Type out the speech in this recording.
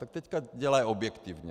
Tak teď dělají objektivně.